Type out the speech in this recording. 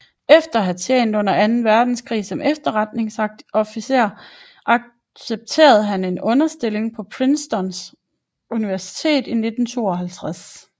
Efter at have tjent under Anden Verdenskrig som efterretningsofficer accepterede han en underviserstilling på Princeton i 1952